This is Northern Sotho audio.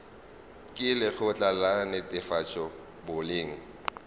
ke lekgotla la netefatšo boleng